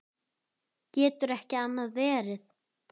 Getur ekki annað verið.